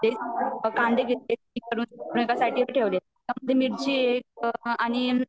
कांदे घेतले , मिर्ची ये